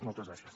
moltes gràcies